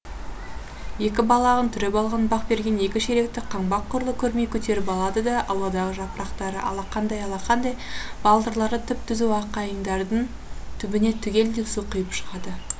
екі балағын түріп алған бақберген екі шелекті қаңбақ құрлы көрмей көтеріп алады да ауладағы жапырақтарыды алақандай алақандай балтырлары түп түзу аққайыңдардың түбіне түгелдей су құйып шығады